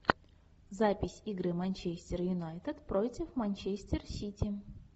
запись игры манчестер юнайтед против манчестер сити